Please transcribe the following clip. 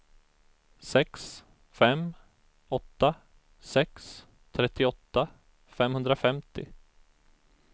sex fem åtta sex trettioåtta femhundrafemtio